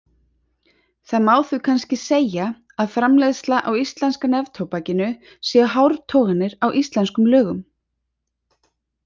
Það má því kannski segja að framleiðsla á íslenska neftóbakinu séu hártoganir á íslensku lögunum.